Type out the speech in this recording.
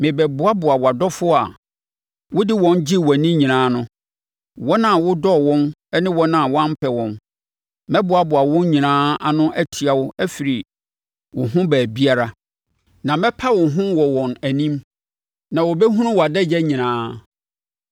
merebɛboaboa wʼadɔfoɔ a wode wɔn gyee wʼani nyinaa ano; wɔn a wodɔɔ wɔn ne wɔn a woampɛ wɔn. Mɛboaboa wɔn nyinaa ano atia wo afiri wo ho baabiara, na mɛpa wo ho wɔ wɔn anim, na wɔbɛhunu wʼadagya nyinaa.